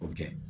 O kɛ